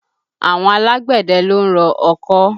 Àwọn alágbẹ̀dẹ ló ń rọ ọkọ́